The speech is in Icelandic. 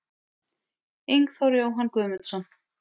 Ingþór Jóhann Guðmundsson